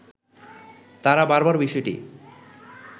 তারা বারবার বিষয়টি